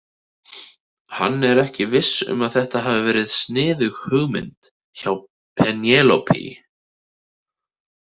Hann var ekki viss um að þetta hafi verið sniðug hugmynd hjá Penélope.